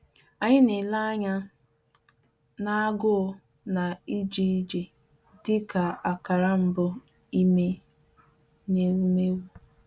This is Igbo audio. Anyị na-ele anya n’agụụ na ije ije dịka akara mbụ ime n’ewumewụ.